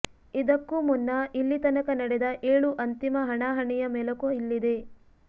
ಇದಕ್ಕೂ ಮುನ್ನ ಇಲ್ಲಿ ತನಕ ನಡೆದ ಏಳು ಅಂತಿಮ ಹಣಾಹಣಿಯ ಮೆಲುಕು ಇಲ್ಲಿದೆ